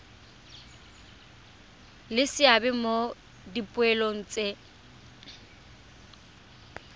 le seabe mo dipoelong tse